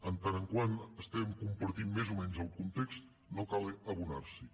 en tant que estem compartint més o menys el context no cal abonar s’hi